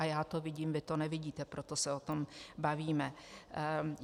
A já to vidím, vy to nevidíte, proto se o tom bavíme.